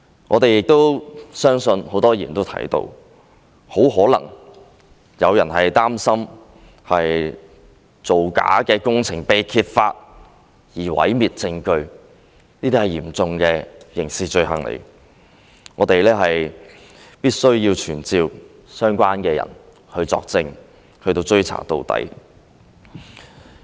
我們亦相信，正如很多議員也提到，很可能有人擔心造假的工程被揭發而毀滅證據，這是嚴重的刑事罪行，我們必須傳召相關人士作證，追查到底。